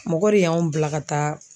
Mɔgɔ de y'anw bila ka taa